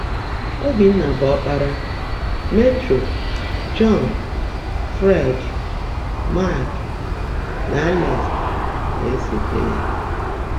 Óbínnà bụ́ ọ́kpárá, Mètró, Jọ́n, Fréd, Máịk, nà Álex ná-èsóte yá.